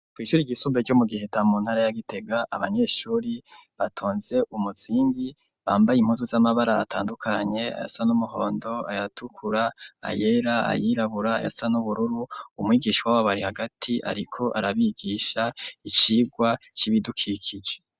Kw'ishuri ryisumbuye ryo mu Giheta mu ntara ya Gitega abanyeshuri batonze umuzingi bambaye impuzu z'amabara atandukanye ayasa n'umuhondo ayatukura ayera ayirabura ayasa n'ubururu umwigishwa w'ababari hagati ariko arabigisha icigwa c'ibidukikije.